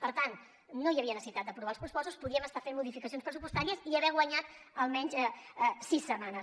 per tant no hi havia necessitat d’aprovar els pressupostos podíem estar fent modificacions pressupostàries i haver guanyat almenys sis setmanes